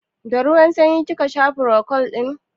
Da ruwan sanyi ka sha furocold ɗin?